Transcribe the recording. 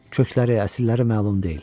Kökləri, əsilləri məlum deyil.